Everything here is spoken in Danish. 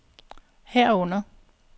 herunder